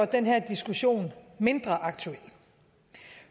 den her diskussion mindre aktuel